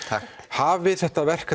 hafið þetta verk